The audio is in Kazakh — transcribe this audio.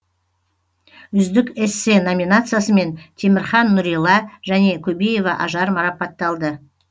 үздік эссе номинациясымен темірхан нурилла және көбеева ажар марапатталды